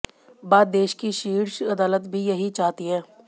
बा देश की शीर्ष अदालत भी यही चाहती है